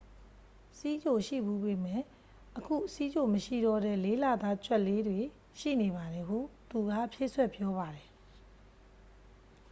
"""ဆီးချိုရှိဖူးပေမယ့် အခုဆီးချိုမရှိတော့တဲ့ ၄ လသား ကြွက်လေးတွေ ရှိနေပါတယ်" ဟုသူက ဖြည့်စွက်ပြောပါတယ်။